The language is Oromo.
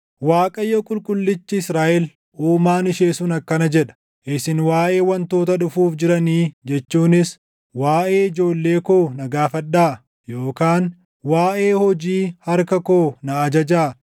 “ Waaqayyo, Qulqullichi Israaʼel Uumaan ishee sun akkana jedha: Isin waaʼee wantoota dhufuuf jiranii jechuunis, ‘Waaʼee ijoollee koo na gaafadhaa; yookaan waaʼee hojii harka koo na ajajaa.’